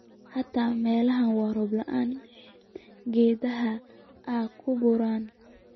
Xita melaha roob laanta eh geedhaha aan kuu burno.